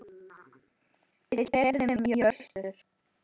Við keyrum í austur